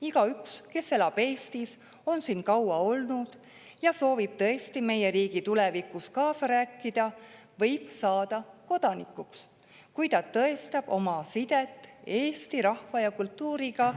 Igaüks, kes elab Eestis, on siin kaua olnud ja soovib tõesti meie riigi tulevikus kaasa rääkida, võib saada kodanikuks, kui ta tõestab oma sidet Eesti rahva ja kultuuriga.